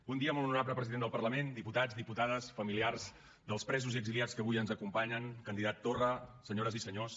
bon dia molt honorable president del parlament diputats diputades familiars dels presos i exiliats que avui ens acompanyen candidat torra senyores i senyors